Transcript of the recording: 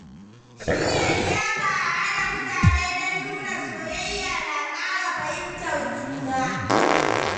Shirya liyafa a haɗa mutane don nuna soyayya na ƙara fahimtar juna.